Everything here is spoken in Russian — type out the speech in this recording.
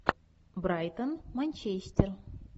брайтон манчестер